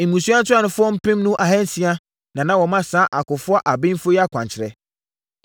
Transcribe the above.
Mmusua ntuanofoɔ mpenu ahansia na na wɔma saa akofoɔ abenfoɔ yi akwankyerɛ.